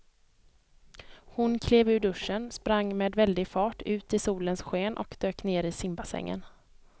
Hon klev ur duschen, sprang med väldig fart ut i solens sken och dök ner i simbassängen.